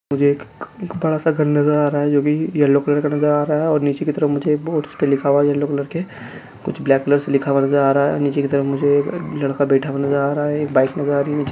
मुझे एक बड़ा- सा घर नज़र आ रहा है जोकि येलो कलर का नज़र आ रहा है और नीचे की तरफ मुझे एक बोर्ड्स पे लिखा हुआ येलो कलर के कुछ ब्लैक कलर से लिखा हुआ नज़र आ रहा है नीचे की तरफ मुझे एक लड़का बैठा हुआ नज़र आ रहा है एक बाइक नज़र आ रही है नीचे --